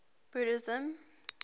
buddhism